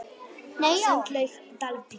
Sundlaug Dalvíkur